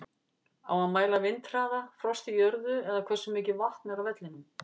Á að mæla vindhraða, frost í jörðu eða hversu mikið vatn er á vellinum?